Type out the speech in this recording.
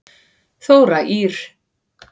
Þóra Ýr.